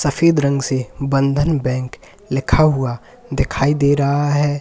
सफेद रंग से बंधन बैंक लिखा हुआ दिखाई दे रहा है।